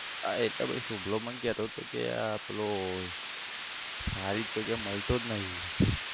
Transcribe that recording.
એતો પહી શુભલો મન કેતો હતો કે આ પેલો મલતો તો જ નહિ.